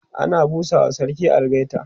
ana busawa sarki algaita